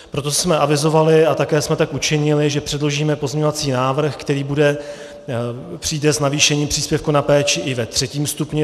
Proto jsme avizovali, a také jsme tak učinili, že předložíme pozměňovací návrh, který přijde s navýšením příspěvku na péči i ve třetím stupni.